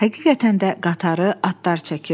Həqiqətən də qatarı atlar çəkirdi.